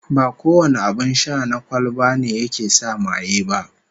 Ba kowane abin sha na kwalba ne yake sa maye ba